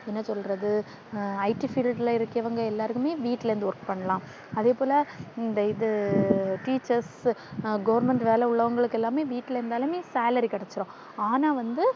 என்ன சொல்றது, IT Field ல இருக்கறவங்க எல்லாருமே வீட்டுல இருந்து work பண்ணலாம். அதேபோல இந்த இது Teachers, Government வேலை உள்ளவங்களுக்கு எல்லாமே வீட்டில இருந்தாலும் salary கிடைச்சிடும். ஆனா வந்து, என்ன சொல்றது